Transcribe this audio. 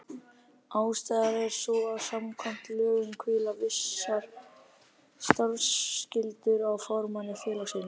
Ástæðan er sú að samkvæmt lögum hvíla vissar starfsskyldur á formanni félagsins.